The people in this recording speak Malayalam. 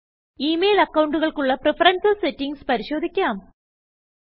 ഇമെയിൽ അക്കണ്ടുകൾക്കുള്ള പ്രഫറൻസ് settingsപരിശോധിക്കാം